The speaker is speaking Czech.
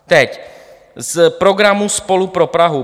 Teď z programu SPOLU pro Prahu.